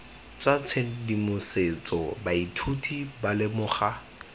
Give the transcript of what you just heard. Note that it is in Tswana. tsa tshedimosetso baithuti ba lemoga